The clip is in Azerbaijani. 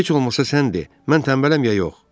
Heç olmasa sən de, mən tənbələm ya yox?